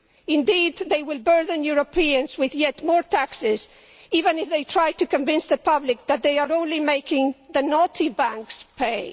Indeed, they will burden Europeans with yet more taxes, even if they try to convince the public that they are only making the naughty banks pay.